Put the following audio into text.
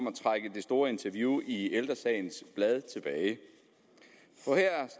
at trække det store interview i ældre sagens blad tilbage